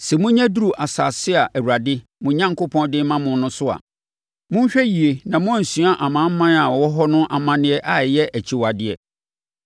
Sɛ monya duru asase a Awurade, mo Onyankopɔn, de rema mo no so a, monhwɛ yie na moansua amanaman a ɛwɔ hɔ no amanneɛ a ɛyɛ akyiwadeɛ.